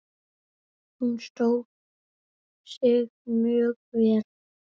Hún stóð sig mjög vel.